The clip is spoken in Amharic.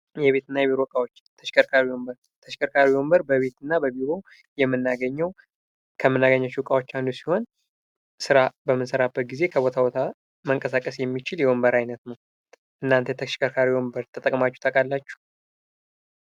የቤትና የቢሮ እቃዎች ተሽከርካሪ ወንበር በቤትና በቢሮ ከምናገኛቸው እቃዎች አንዱ ሲሆን ስራ በምንሰራበት ጊዘ ከቦታ ቦታ መንቀሳቀስ የሚችል የወንበር አይነት ነው። እናንተ ተሽከርካሪ ወንበር ተጠቅማቹ ታውቃላቹ?